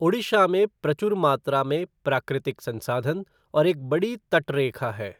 ओडिशा में प्रचुर मात्रा में प्राकृतिक संसाधन और एक बड़ी तटरेखा है।